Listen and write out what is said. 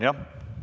Aitäh, hea Urmas!